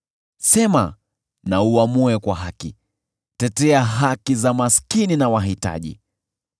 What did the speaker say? Sema na uamue kwa haki, tetea haki za maskini na wahitaji.”